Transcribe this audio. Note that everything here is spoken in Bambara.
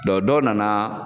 Dɔ dɔ na na